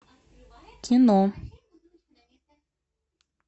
кино